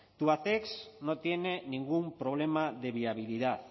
tubacex no tiene ningún problema de viabilidad